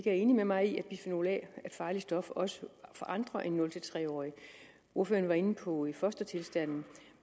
er enig med mig i at bisfenol a er et farligt stof også for andre end nul tre årige ordføreren var inde på fostertilstanden